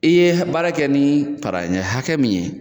I ye baara kɛ ni para ɲɛ hakɛ min ye